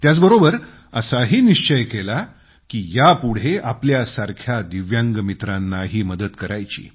त्याचबरोबर असाही निश्चय केला की यापुढे आपल्यासारख्या दिव्यांग मित्रांनाही मदत करायची